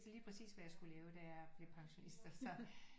Lige præcis hvad jeg skulle lave da jeg blev pensionist så